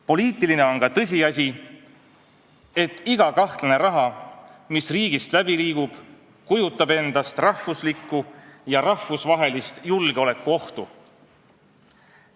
Poliitiline on ka tõsiasi, et iga kahtlane summa, mis riigist läbi liigub, kujutab endast rahvuslikku ja rahvusvahelist julgeolekuohtu.